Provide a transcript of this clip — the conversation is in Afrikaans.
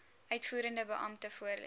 uitvoerende beampte voorlê